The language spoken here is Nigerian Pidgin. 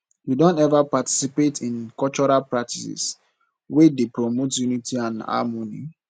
you don ever participate in cultural practices wey dey promote unity and harmony